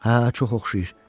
Hə, çox oxşayır.